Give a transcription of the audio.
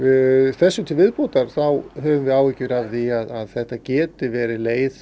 þessu til viðbótar höfum við áhyggjur af því að þetta geti verið leið